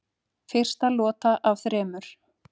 Fyrsta lota af þremur